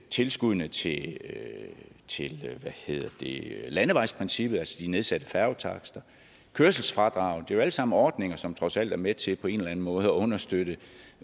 tilskuddene til til landevejsprincippet altså de nedsatte færgetakster kørselsfradraget det er jo alt sammen ordninger som trods alt er med til på en eller anden måde at understøtte